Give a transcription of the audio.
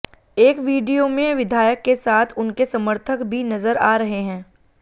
एक वीडियो में विधायक के साथ उनके समर्थक भी नजर आ रहे हैं